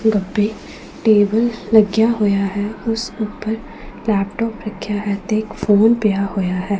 ਗੱਬੇ table ਲੱਗਿਆ ਹੋਇਆ ਹੈ ਉਸ ਊਪਰ ਲੈਪਟੌਪ ਰੱਖਿਆ ਹੈ ਤੇ ਇੱਕ ਫੋਨ ਪਿਆ ਹੋਇਆ ਹੈ।